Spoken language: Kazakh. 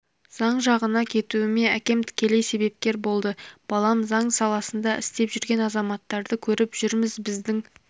заң жағына кетуіме әкем тікелей себепкер болды балам заң саласында істеп жүрген азаматтарды көріп жүрміз біздің